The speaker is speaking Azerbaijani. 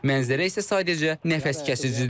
Mənzərə isə sadəcə nəfəskəsəndir.